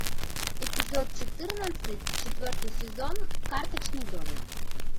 эпизод четырнадцать четвертый сезон карточный домик